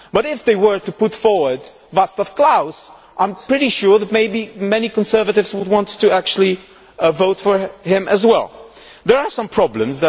But if they were to put forward Vaclav Klaus, I am pretty sure that, maybe, many conservatives would want to vote for him as well. There are some problems.